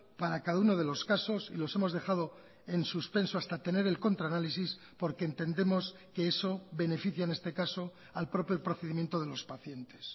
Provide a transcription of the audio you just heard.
para cada uno de los casos y los hemos dejado en suspenso hasta tener el contraanálisis porque entendemos que eso beneficia en este caso al propio procedimiento de los pacientes